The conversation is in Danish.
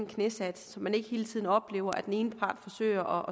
knæsat så man ikke hele tiden oplever at den ene part forsøger